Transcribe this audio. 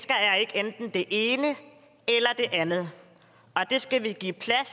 enten det ene eller det andet og det skal vi give plads